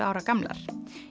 ára gamlar